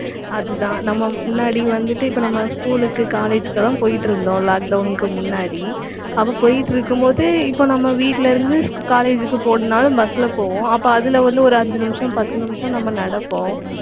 அதுதான் நம்ம முன்னாடி வந்துட்டு இப்ப நம்ம school க்கு college க்கு எல்லாம் போயிட்டிருந்தோம் lockdown க்கு முன்னாடி அப்ப போயிட்டிருக்கும்போது, இப்ப நம்ம வீட்டில இருந்து college க்கு போகணும்னாலும் bus ல போவோம். அப்ப அதில வந்து, ஒரு ஐந்து நிமிஷம், பத்து நிமிஷம் நம்ம நடப்போம்